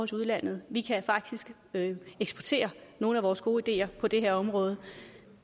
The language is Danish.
til udlandet vi kan faktisk eksportere nogle af vores gode ideer på det her område